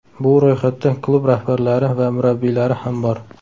Bu ro‘yxatda klub rahbarlari va murabbiylari ham bor!